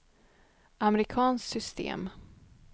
amerikanskt system